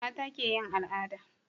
mata ke yin al'ada